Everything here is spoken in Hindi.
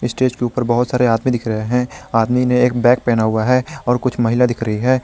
स्टेज के ऊपर बहोत सारे आदमी दिख रहे हैं आदमी ने एक बैग पहना हुआ है और कुछ महिला दिख रही है।